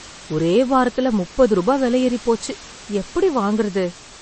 ஒரே வாரத்துல முப்பது ரூபா விலை ஏறிப்போச்சு. எப்படி வாங்குறது?